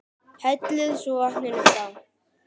Hellið svo vatninu frá.